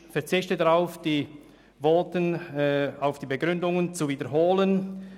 Ich verzichte darauf, die Begründungen aus den Voten zu wiederholen.